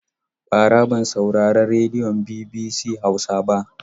Bara ban saurari rediyon BBC Hausa ba.